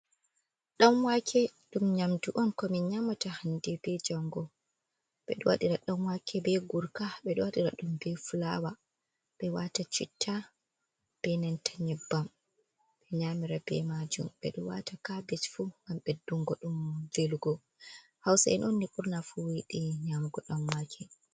Ɗan waake, ɗum nyamdu on ko min nyaamata hande be jaango. Ɓe ɗo waɗira ɗam waake be gurka. Ɓe ɗo waɗira ɗum be fulawa, ɓe waata citta be nanta nyebbam, ɓe nyaamira be majum. Ɓe ɗo waata kaabej fu ngam ɓeddungo ɗum velugo. Hausa'en on ni ɓurna fu yiɗi nyamugo ɗan waake.